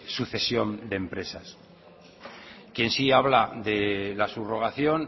sucesión de empresas quien si habla de la subrogación